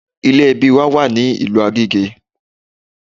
Ilé ẹbí wa wà ní ìlú Agége